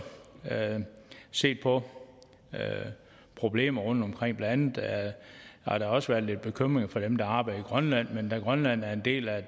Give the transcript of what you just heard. set på problemerne rundtomkring blandt andet har der også været lidt bekymringer fra dem der arbejder i grønland men da grønland er en del af